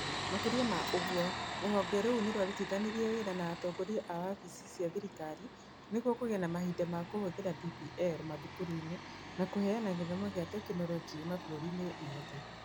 Makĩria ma ũguo, rũhonge rũu nĩ rwarutithanirie wĩra na atongoria a wabici cia thirikari nĩguo kũgĩe na mahinda ma kũhũthĩra DPL mathukuru-inĩ na kũheana gĩthomo kĩa tekinoronjĩ mabũrũri-inĩ mothe.